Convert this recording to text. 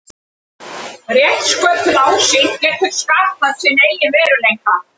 Rétt sköpuð ásýnd getur skapað sinn eigin veruleika.